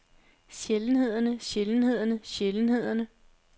sjældenhederne sjældenhederne sjældenhederne